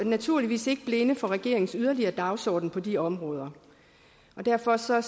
naturligvis ikke blinde for regeringens yderligere dagsorden på de områder og derfor ser